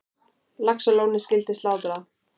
Laxalóni skyldi slátrað.